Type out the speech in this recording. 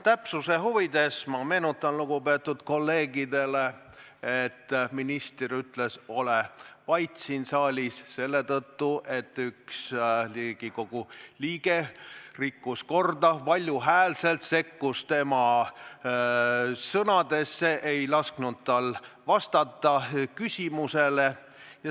Täpsuse huvides ma meenutan lugupeetud kolleegidele, et minister ütles "ole vait!" siin saalis selle tõttu, et üks Riigikogu liige rikkus korda, sekkus valjul häälel tema sõnadesse, ei lasknud tal küsimusele vastata.